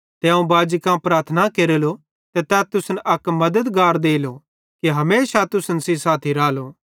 ते अवं बाजी कां प्रार्थना केरेलो ते तै तुसन अक मद्दतगार देलो कि हमेशा तुसन सेइं साथी रालो